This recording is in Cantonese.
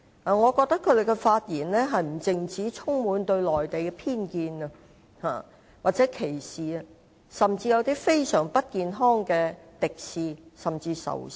我覺得他們的發言不單對內地充滿偏見或歧視，甚至帶有非常不健康的敵視，甚至仇視。